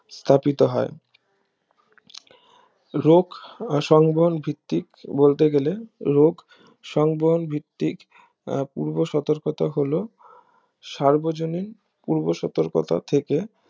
স্থাপিত হয় রোগ সংবহন ভিত্তিক বলতে গেলে রোগ সংবহন ভিত্তিক আহ পূর্ব সতর্কতা হলো সার্বজনীন পূর্ব সতর্কতা থেকে